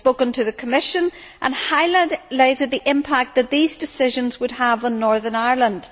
I have spoken to the Commission and highlighted the impact that these decisions would have on Northern Ireland.